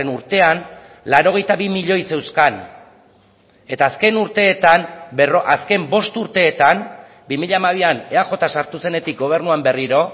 urtean laurogeita bi milioi zeuzkan eta azken urteetan azken bost urteetan bi mila hamabian eaj sartu zenetik gobernuan berriro